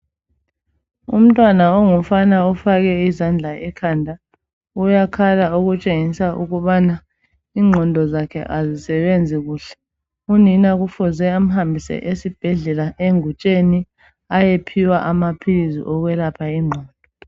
Umntwana ongumfana ofake izandla ekhanda uyakhala okutshengisa ukubana ingqondo zakhe azisebenzi kuhle. Unina kufuze amhambise esbhedlela engutsheni ayephiwa amaphilisi okwelapha ingqondo.